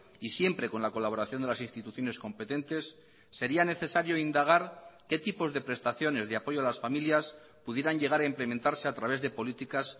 y siempre con la colaboración de las instituciones competentes sería necesario indagar qué tipos de prestaciones de apoyo a las familias pudieran llegar a implementarse a través de políticas